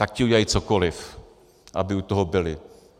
Tak ti udělají cokoliv, aby u toho byli.